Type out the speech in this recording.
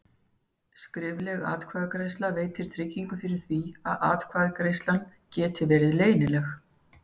Skrifleg atkvæðagreiðsla veitir tryggingu fyrir því að atkvæðagreiðslan geti verið leynileg.